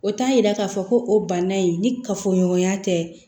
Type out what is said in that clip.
O t'a yira k'a fɔ ko o banna in ni kafoɲɔgɔnya tɛ